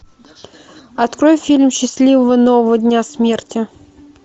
открой фильм счастливого нового дня смерти